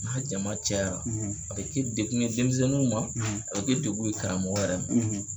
N'a jama cayara, a be kɛ dekun ye denmisɛnninw ma, a be kɛ dekun ye karamɔgɔ yɛrɛ ma.